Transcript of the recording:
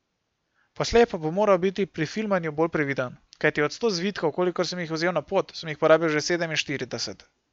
Poslej pa bom moral biti pri filmanju bolj previden, kajti od sto zvitkov, kolikor sem jih vzel na pot, sem jih porabil že sedeminštirideset.